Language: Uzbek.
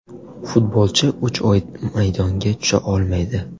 Futbolchi uch oy maydonga tusha olmaydi .